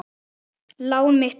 Lán mitt er mikið.